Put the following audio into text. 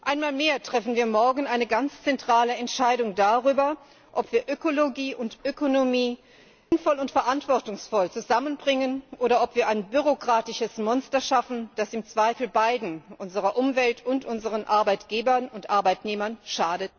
Einmal mehr treffen wir morgen eine ganz zentrale Entscheidung darüber, ob wir Ökologie und Ökonomie sinnvoll und verantwortungsvoll zusammenbringen oder ob wir ein bürokratisches Monster schaffen, das im Zweifel beiden unserer Umwelt und unseren Arbeitgebern und Arbeitnehmern schadet.